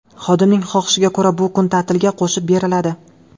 Xodimning xohishiga ko‘ra bu kun ta’tilga qo‘shib beriladi.